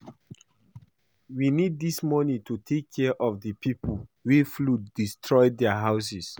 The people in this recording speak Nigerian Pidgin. We need dis money to take care of the people wey flood destroy their houses